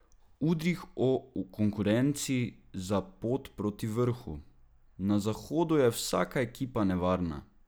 Udrih o konkurenci za pot proti vrhu: "Na zahodu je vsaka ekipa nevarna.